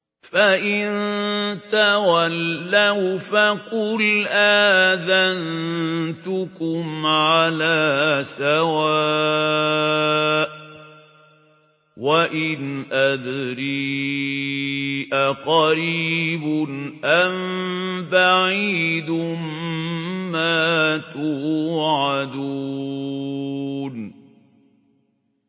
فَإِن تَوَلَّوْا فَقُلْ آذَنتُكُمْ عَلَىٰ سَوَاءٍ ۖ وَإِنْ أَدْرِي أَقَرِيبٌ أَم بَعِيدٌ مَّا تُوعَدُونَ